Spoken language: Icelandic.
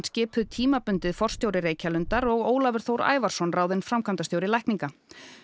skipuð tímabundið forstjóri Reykjalundar og Ólafur Þór Ævarsson ráðinn framkvæmdastjóri lækninga